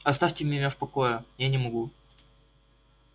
оставьте меня в покое я не могу